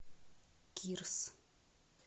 кирс